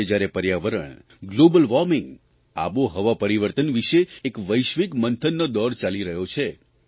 આજે જ્યારે પર્યાવરણ ગ્લોબલ વોર્મિંગ આબોહવા પરિવર્તન વિશે એક વૈશ્વિક મંથનનો દોર ચાલી રહ્યો છે